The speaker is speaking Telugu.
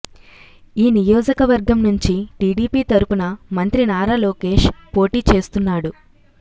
ఈ నియోజకవర్గం నుంచి టీడీపీ తరపున మంత్రి నారా లోకేష్ పోటీ చేస్తున్నాడు